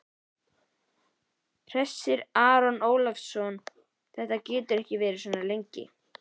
Hersir Aron Ólafsson: Þetta getur ekki verið svona lengi?